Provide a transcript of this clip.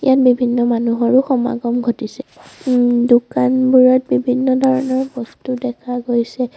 ইয়াত বিভিন্ন মানুহৰো সমাগম ঘটিছে ওম দোকানবোৰত বিভিন্ন ধৰণৰ বস্তু দেখা গৈছে।